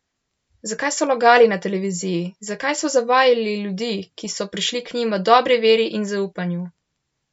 Zakaj so lagali na televiziji, zakaj so zavajali ljudi, ki so prišli k njim v dobri veri in zaupanju?